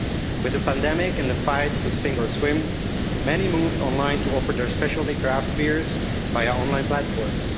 With the pandemic and the fight to sink or swim, many moved online to offer their specialty craft beers via online platforms.